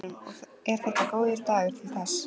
Hugrún: Og er þetta góður dagur til þess?